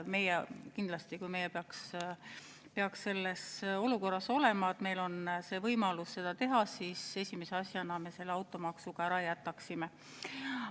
Meie kindlasti, kui meie peaks olema sellises olukorras, et meil oleks võimalus seda teha, esimese asjana selle automaksu ära jätaksime.